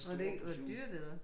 Var det ikke var det dyrt eller hvad?